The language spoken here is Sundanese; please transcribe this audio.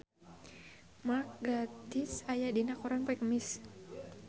Mark Gatiss aya dina koran poe Kemis